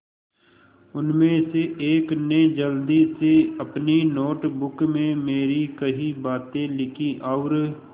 उनमें से एक ने जल्दी से अपनी नोट बुक में मेरी कही बातें लिखीं और